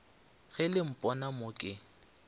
ge le mpona mo ke